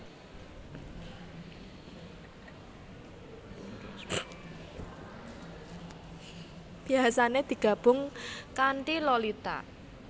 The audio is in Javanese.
Biasane digabung kantiLolita